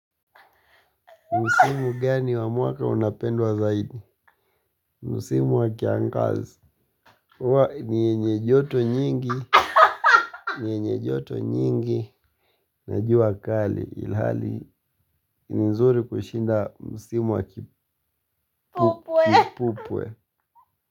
Msimu gani wa mwaka unapendwa zaidi? Msimu wa kiangaz. Ni yenye joto nyingi. Ni yenye joto nyingi. Na jua kali ilhali. Ni nzuri kushinda msimu wa kipupwe.